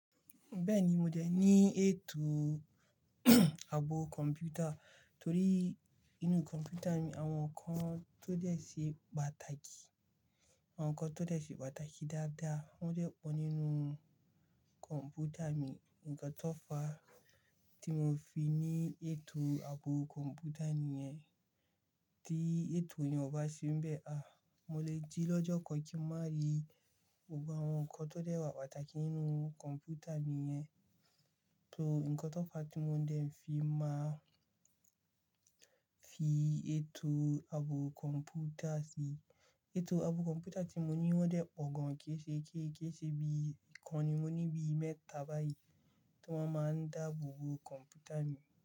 Bẹ́ẹ̀ni, mo dẹ ní ètò ààbò kọ̀ǹpútà torí inú kọ̀ǹpútà ni àwọn ǹkan tó dẹ se pàtàkì, àwọn ǹkan tó dẹ se pàtàkì dáadáa wọ́n dẹ pọ̀ nínú kọ̀ǹpútà mi. Ǹǹkan tó fàá tí mo fi ní ètò ààbò kọ̀ǹpútà nìyẹn, tí ètò yẹn ò bá ṣe n bẹ́ẹ̀, àh, mo lè jí lọ́jọ́ kan kí má rí gbogbo àwọn ǹkan tó dẹ wà pàtàkì nínú kọ̀ǹpútà mi yẹn. So ǹkan tó fàá tí mo dẹ n fi máa fi ètò ààbò kọ̀ǹpútà sí. Ètò ààbò kọ̀ǹpútà tí mo ní ọ́ dẹ pọ̀ gan, kiisé, kii kiiṣé bí ikàn ni mo ní bíi mẹ́ta báyìí tí wọ́n máa ń dáàbò kọ̀ǹpútà mi.